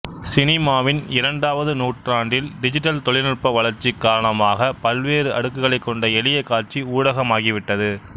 சினிமாவின் இரண்டாவது நூற்றாண்டில்டிஜிட்டல் தொழில்நுட்ப வளர்ச்சி காரணமாகப் பல்வேறு அடுக்குகளைக் கொண்ட எளிய காட்சி ஊடகமாகிவிட்டது